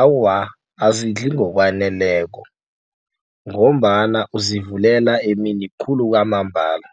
Awa, azidli ngokwaneleko ngombana uzivulela emini khulu kwamambala.